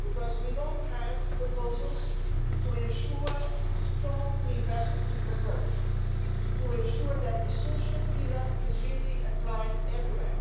because we don't have proposals to ensure strong investment to converge, to ensure that the social pillar is really applied everywhere.